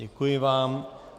Děkuji vám.